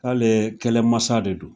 Alɛɛ kɛlɛmasa de don